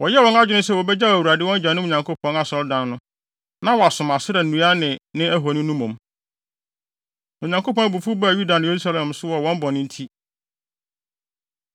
Wɔyɛɛ wɔn adwene sɛ wobegyaw Awurade, wɔn agyanom Nyankopɔn Asɔredan no, na wɔasom Asera nnua no ne ahoni no mmom. Na Onyankopɔn abufuw baa Yuda ne Yerusalem so wɔ wɔn bɔne nti.